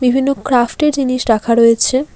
বিভিন্ন ক্রাফট -এর জিনিস রাখা রয়েছে।